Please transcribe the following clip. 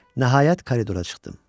Nəhayət, koridora çıxdım.